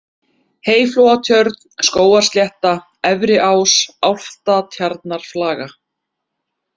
Heyflóatjörn, Skógarslétta, Efriás, Álftatjarnarflaga